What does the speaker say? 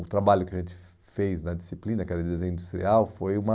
O trabalho que a gente fez na disciplina, que era desenho industrial, foi uma...